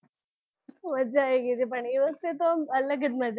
મજા આવી ગઈ હતી પણ એ વખતે તો અલગ જ મજા હતી